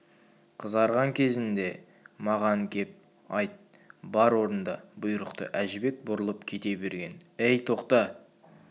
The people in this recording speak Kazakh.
қызарған кезде маған кеп айт бар орында бұйрықты әжібек бұрылып кете берген әй тоқта